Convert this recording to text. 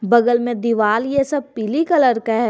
बगल में दिवाल ये सब पीली कलर का है।